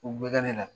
U bɛ ne la